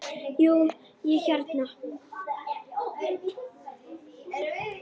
Jú, ég hérna.